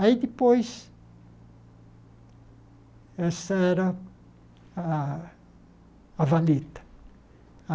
Aí depois, essa era a a valeta.